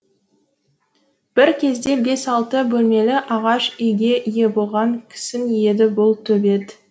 бір кезде бес алты бөлмелі ағаш үйге ие болған кісің еді бұл төбет